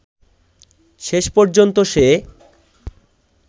শেষ পর্যন্ত সে